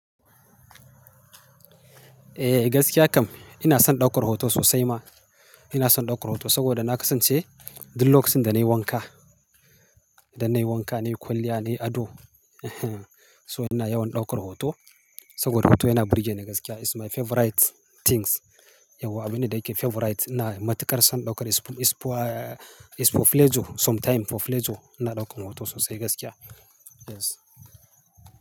Eh, gaskiya kam. Ina son ɗaukar hoto sosai ma. Ina son ɗaukar hoto saboda na kasance duk lokachinda nayi wanka. Dan nayi wanka, nayi kwalliya, nayi ado. So ina yawan ɗaukar hoto saboda hoto yana burge ni gaskiya. It's my favorite things. Yau abin da yake favorite, ina matuƙar son ɗaukar, is for, is for pleasure. Sometime for pleasure ina ɗaukan hoto sosai gaskiya. Yes.